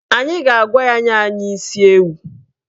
Anyị ga-agwa ya nye anyị isi ewu